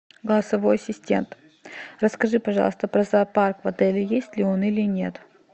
голосовой ассистент расскажи пожалуйста про зоопарк в отеле есть ли он или нет